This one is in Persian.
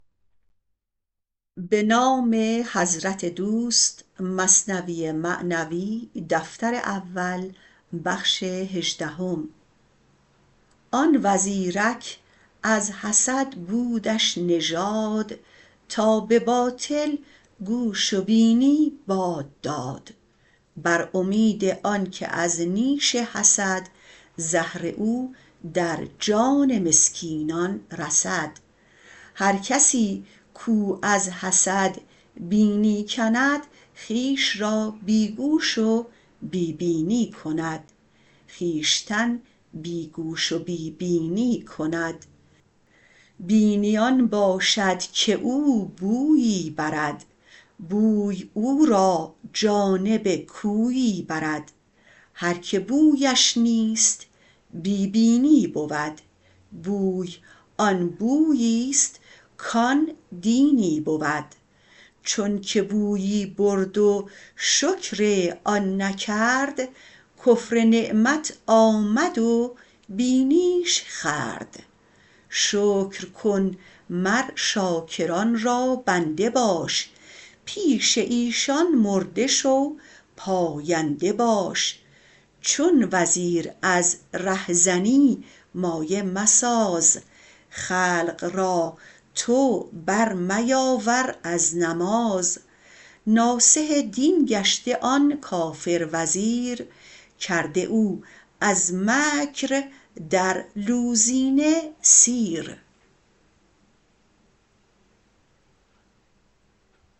آن وزیرک از حسد بودش نژاد تا به باطل گوش و بینی باد داد بر امید آنک از نیش حسد زهر او در جان مسکینان رسد هر کسی کو از حسد بینی کند خویش را بی گوش و بی بینی کند بینی آن باشد که او بویی برد بوی او را جانب کویی برد هر که بویش نیست بی بینی بود بوی آن بویست کان دینی بود چونک بویی برد و شکر آن نکرد کفر نعمت آمد و بینیش خورد شکر کن مر شاکران را بنده باش پیش ایشان مرده شو پاینده باش چون وزیر از ره زنی مایه مساز خلق را تو بر میاور از نماز ناصح دین گشته آن کافر وزیر کرده او از مکر در گوزینه سیر